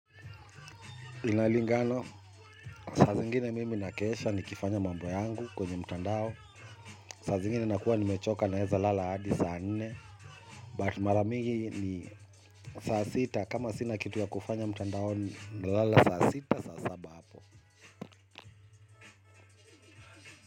Inalingano, saa zingine mimi nakesha ni kifanya mambo yangu kwenye mtandao saa zingine nakua nimechoka naweza lala hadi saa nne but mara mingi saa sita kama sina kitu cha kufanya mtandaoni nalala saa sita saa saba hapo.